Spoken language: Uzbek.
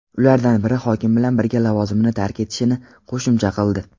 ulardan biri hokim bilan birga lavozimini tark etishini qo‘shimcha qildi.